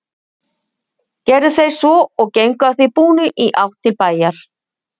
Gerðu þeir svo og gengu að því búnu í átt til bæjar.